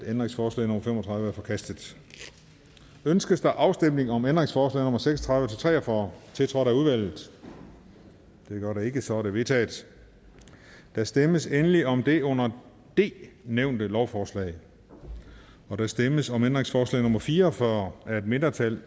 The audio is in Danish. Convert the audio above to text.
ændringsforslag nummer fem og tredive er forkastet ønskes afstemning om ændringsforslag nummer seks og tredive til tre og fyrre tiltrådt af udvalget det gør der ikke så de er vedtaget der stemmes endelig om det under d nævnte lovforslag der stemmes om ændringsforslag nummer fire og fyrre af et mindretal